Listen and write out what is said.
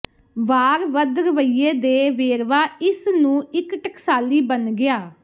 ਵਾਰ ਵੱਧ ਰਵੱਈਏ ਦੇ ਵੇਰਵਾ ਇਸ ਨੂੰ ਇੱਕ ਟਕਸਾਲੀ ਬਣ ਗਿਆ